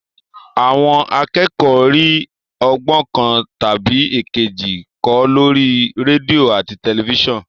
Àwọn akẹ́kọ̀ọ́ ń rí ọgbọ́n kan tàbí èkejì kọ́ lórí rédíò àti tẹ̀lifísàn